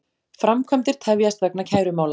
Framkvæmdir tefjast vegna kærumála